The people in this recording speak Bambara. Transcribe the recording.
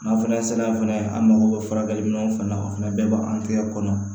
N'a fana sera fana an mago bɛ furakɛli min fana na o fana bɛɛ b'an tɛgɛ kɔnɔ